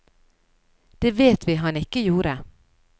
Det vet vi han ikke gjorde.